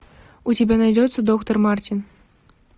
у тебя найдется доктор мартин